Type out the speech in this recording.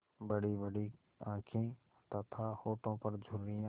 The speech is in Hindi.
बड़ीबड़ी आँखें तथा होठों पर झुर्रियाँ